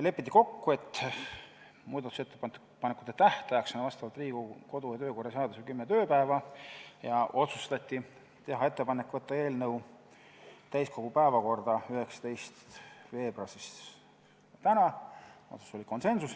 Lepiti kokku, et muudatusettepanekute esitamise tähtaeg on vastavalt Riigikogu kodu- ja töökorra seadusele kümme tööpäeva, ja otsustati teha ettepanek saata eelnõu täiskogu päevakorda 19. veebruariks ehk tänaseks ,